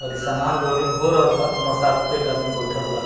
और इ सामान लोडिंग हो रहल बा मोटर साइकिल पे एक आदमी बइठल बा।